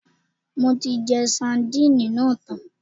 Mo ti jẹ sadínìnì náà tán